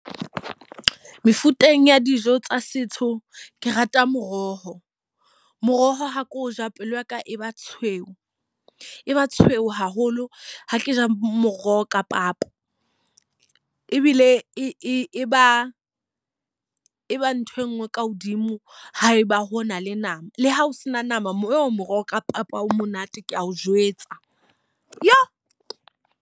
Mefuteng ya dijo tsa setso, ke rata moroho. Moroho ha ke o ja pelo yaka e ba tshweu, e ba tshweu haholo ha ke ja moroho ka papa. Ebile e ba e ba ntho e nngwe ka hodimo ha eba hona le nama, le ha o se na nama mo moroho ka papa o monate ke a o jwetsa .